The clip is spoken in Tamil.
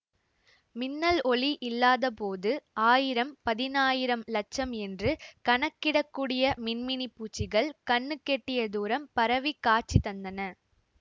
மின்னல் ஒளி இல்லாதபோது ஆயிரம் பதினாயிரம் லட்சம் என்று கணக்கிடக்கூடிய மின்மினிப் பூச்சிகள் கண்ணுக்கெட்டிய தூரம் பரவிக் காட்சி தந்தன